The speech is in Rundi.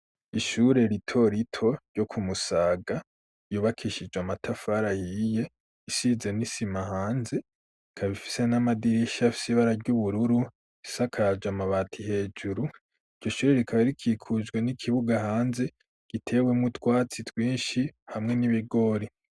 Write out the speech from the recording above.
Ishure rito rito ryo ku Musaga yubakishijwe amatafari ahiye isize n'isima hanze, ikaba ifise n'amadirisha y'ibara ry'ubururu isakaje amabati hejuru iryo ishure rikaba rikikujwe n'ikibuga hanze gitewe mu twatsi twinshi hamwe n'ibigori.